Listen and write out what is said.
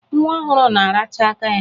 Nwa ọhụrụ na-aracha aka ya.